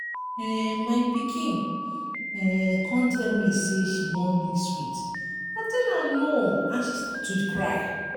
um my pikin um come tell me say she wan lick sweet i tell am no and she start to cry.